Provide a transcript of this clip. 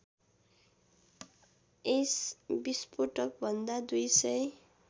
यस विस्फोटकभन्दा २००